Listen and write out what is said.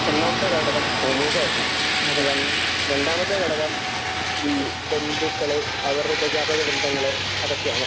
ഒന്നാമത്തെ ഘടകം സമൂഹം ആണ് . രണ്ടാമത്തെ ഘടകം ബന്ധുക്കൾ അവരുടെ ഉപജാപക വൃന്ദങ്ങൾ അവരൊക്കെയാണ്